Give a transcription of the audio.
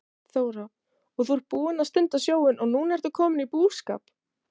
Þóra: Og þú ert búinn að stunda sjóinn og núna ertu kominn út í búskap?